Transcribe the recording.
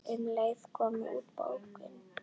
Um leið kom út bókin